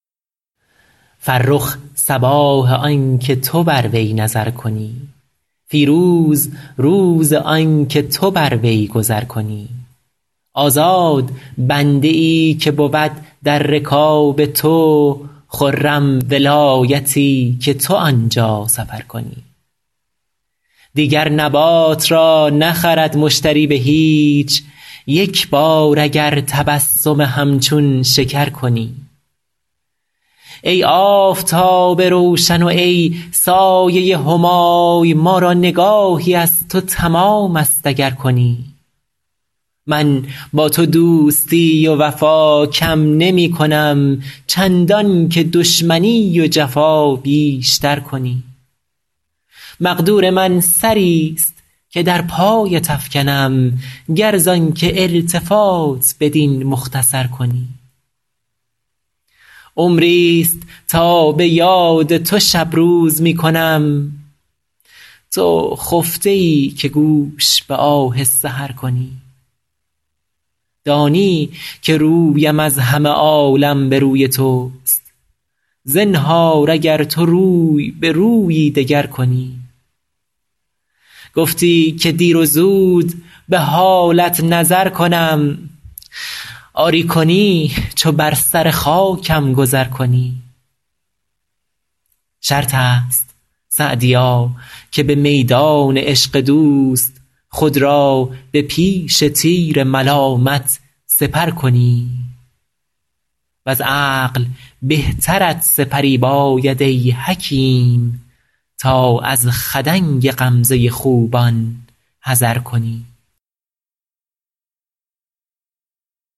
فرخ صباح آن که تو بر وی نظر کنی فیروز روز آن که تو بر وی گذر کنی آزاد بنده ای که بود در رکاب تو خرم ولایتی که تو آن جا سفر کنی دیگر نبات را نخرد مشتری به هیچ یک بار اگر تبسم همچون شکر کنی ای آفتاب روشن و ای سایه همای ما را نگاهی از تو تمام است اگر کنی من با تو دوستی و وفا کم نمی کنم چندان که دشمنی و جفا بیش تر کنی مقدور من سری ست که در پایت افکنم گر زآن که التفات بدین مختصر کنی عمری ست تا به یاد تو شب روز می کنم تو خفته ای که گوش به آه سحر کنی دانی که رویم از همه عالم به روی توست زنهار اگر تو روی به رویی دگر کنی گفتی که دیر و زود به حالت نظر کنم آری کنی چو بر سر خاکم گذر کنی شرط است سعدیا که به میدان عشق دوست خود را به پیش تیر ملامت سپر کنی وز عقل بهترت سپری باید ای حکیم تا از خدنگ غمزه خوبان حذر کنی